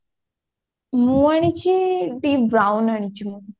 ମୁଁ ଆଣିଛି deep brown ଆଣିଛି ମୁଁ